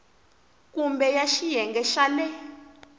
kumbe ya xiyenge xa le